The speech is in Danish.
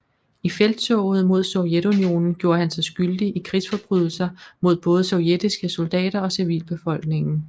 I felttoget mod Sovjetunionen gjorde han sig skyldig i krigsforbrydelser mod både sovjetiske soldater og civilbefolkningen